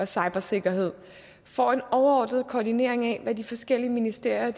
cybersikkerhed får en overordnet koordinering af hvad de forskellige ministerier